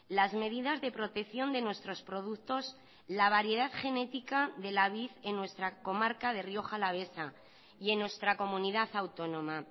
las medidas de protección de nuestros productos la variedad genética de la vid en nuestra comarca de rioja alavesa y en nuestra comunidad autónoma